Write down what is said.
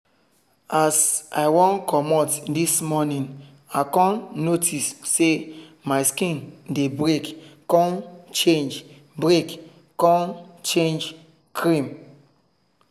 as i wan commot this morning i con notice say my skin dey break con change break con change cream.